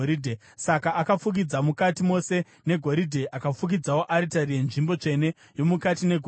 Saka akafukidza mukati mose negoridhe. Akafukidzawo aritari yenzvimbo tsvene yomukati negoridhe.